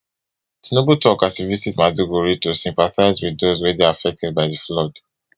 tinubu tok as e visit maiduguri to syphatise wit those wey dey affected by di flood